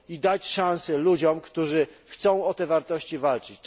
Daje ona szansę ludziom, którzy chcą o te wartości walczyć.